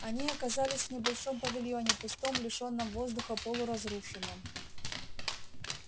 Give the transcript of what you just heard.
они оказались в небольшом павильоне пустом лишённом воздуха полуразрушенном